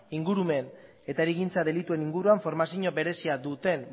ingurumen eta hirigintza delituen inguruan formazio berezia duten